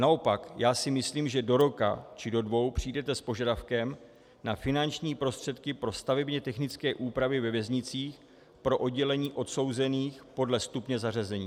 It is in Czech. Naopak já si myslím, že do roka či do dvou přijdete s požadavkem na finanční prostředky pro stavebně technické úpravy ve věznicích, pro oddělení odsouzených podle stupně zařazení.